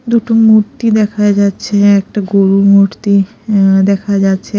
দুটো মূর্তি দেখা যাচ্ছে একটা গরুর মূর্তি আঃ দেখা যাচ্ছে।